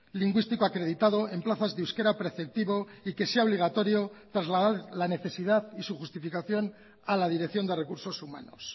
lingüístico acreditado en plazas de euskera preceptivo y que sea obligatorio trasladar la necesidad y su justificación a la dirección de recursos humanos